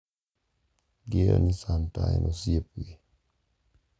Ging`eyo ni santa en osiepgi.